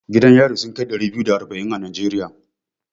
Gidan yari sun kai ɗari biyu da arba'in a Najeriya.